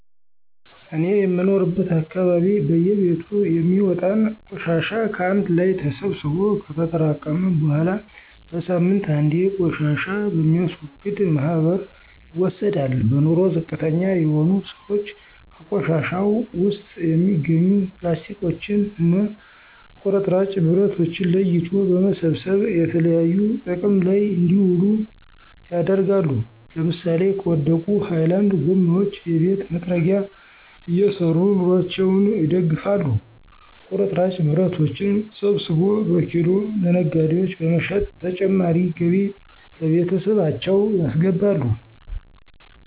እኔ የምኖርበት አካባቢ በየቤቱ የሚወጣን ቆሻሻ ከአንድ ላይ ተሰብስቦ ከተጠራቀመ በኃላ በሳምንት አንዴ ቆሻሻ በሚያስወግድ ማህበር ይወሰዳል። በኑሮ ዝቅተኛ የሆኑ ስዎች ከቆሻሻው ውስጥ የሚገኙ ፕላስቲኮችን እና ቁርጥራጭ ብረቶችን ለይቶ በመሰብሰብ የተለያዩ ጥቅም ላይ እንዲውሉ ያደርጋሉ ለምሳሌ ከወደቁ ሀይላንድ ጎማዎች የቤት መጥረጊያ እየሰሩ ኑሮአቸውን ይደግፋሉ። ቁርጥራጭ ብረቶችን ሰብስቦ በኪሎ ለነጋዴዎች በመሸጥ ተጨማሪ ገቢ ለቤተሰባቸው ያስገባሉ።